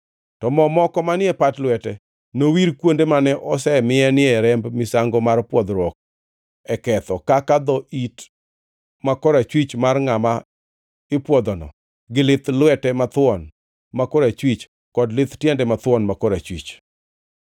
To mo moko manie pat lwete, nowir kuonde mane oseminie remb misango mar pwodhruok e ketho kaka dho it ma korachwich mar ngʼama ipwodhono gi lith lwete mathuon ma korachwich, kod lith tiende mathuon ma korachwich.